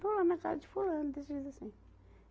Estou na casa de fulano, assim.